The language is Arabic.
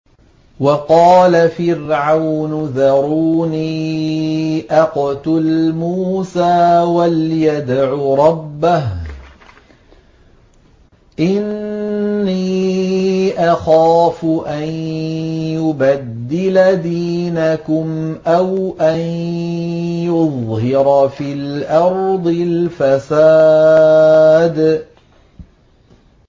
وَقَالَ فِرْعَوْنُ ذَرُونِي أَقْتُلْ مُوسَىٰ وَلْيَدْعُ رَبَّهُ ۖ إِنِّي أَخَافُ أَن يُبَدِّلَ دِينَكُمْ أَوْ أَن يُظْهِرَ فِي الْأَرْضِ الْفَسَادَ